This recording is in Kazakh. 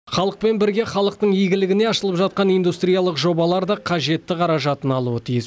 халықпен бірге халықтың игілігіне ашылып жатқан индустриялық жобалар да қажетті қаражатын алуы тиіс